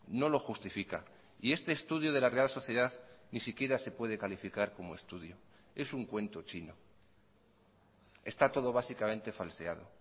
no lo justifica y este estudio de la real sociedad ni siquiera se puede calificar como estudio es un cuento chino está todo básicamente falseado